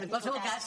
en qualsevol cas